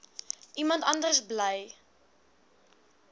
iemand anders bly